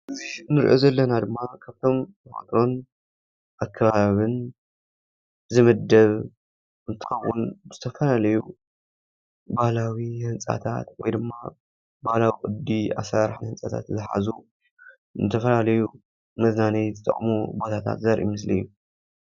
እዚ ንሪኦ ዘለና ድማ ካብቶም ተፈጥሮን ኣከባብን ዝምደብ እንትኸውን ዝተፈላለዩ ባህላዊ ህንፃታት ወይ ድማ ባህላዊ ቅዲ ኣሰራርሓ ህንፃታት ዝሓዙ ንዝተፈላለዩ መዝናነይ ዝጠቕሙ ቦታታት ዘርኢ ምስሊ እዩ፡፡